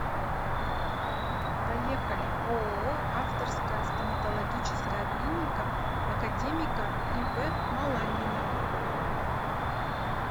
поехали ооо авторская стоматологическая клиника академика ив маланьина